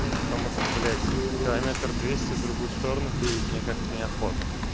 потому что блять километр двести в другую сторону переть мне как-то неохота